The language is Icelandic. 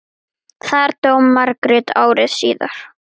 Þar dó Margrét ári síðar.